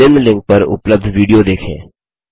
निम्न लिंक पर उपलब्ध विडियो देखें